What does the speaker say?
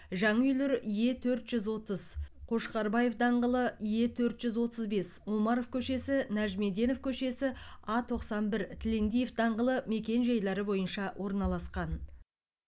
жаңа үйлер е төрт жүз отыз қошқарбаев даңғылы е төрт жүз отыз бес омаров көшесі нәжімеденов көшесі а тоқсан бір тілендиев даңғылы мекен жайлары бойынша орналасқан